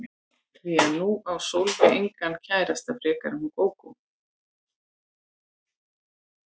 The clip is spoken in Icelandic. Því að nú á Sólveig engan kærasta frekar en hún Gógó.